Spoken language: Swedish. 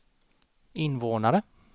invånare